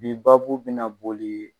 Bi babo bina na boli